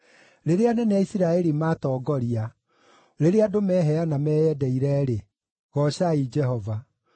“Rĩrĩa anene a Isiraeli maatongoria, rĩrĩa andũ meheana meyendeire-rĩ, goocai Jehova!